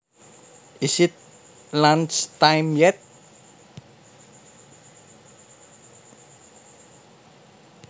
Is it lunch time yet